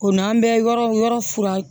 O n'an bɛ yɔrɔ yɔrɔ fura